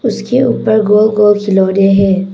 इसके ऊपर गोल गोल खिलौने हैं।